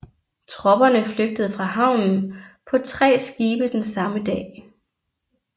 Tropperne flygtede fra havnen på tre skibe den samme dag